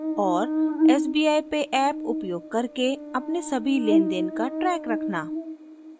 sbi pay app उपयोग करके अपने साभी लेनदेन का ट्रैक रखना